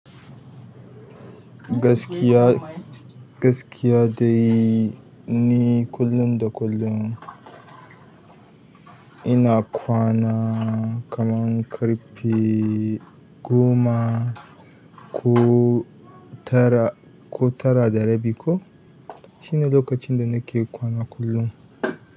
Gaskiya, gaskiya dai ni kullum da kullum ina kwana kaman ƙarfe goma ko tara, ko tara da rabi ko. Shine lokacin da nake kwana kullum.